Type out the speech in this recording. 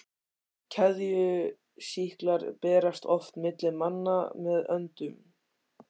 Keðjusýklar berast oft milli manna með öndun.